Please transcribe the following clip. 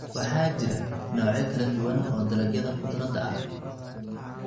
Waxaa jira noocyo kala duwan oo dalagyada khudradda ah.